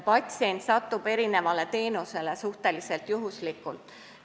Patsient aga satub eri teenusele suhteliselt juhuslikult.